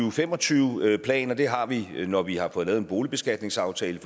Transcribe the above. og fem og tyve plan og det har vi når vi har fået lavet en boligbeskatningsaftale